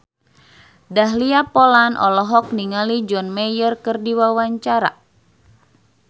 Dahlia Poland olohok ningali John Mayer keur diwawancara